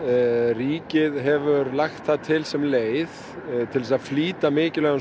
ríkið hefur lagt það til sem leið til að flýta mikilvægum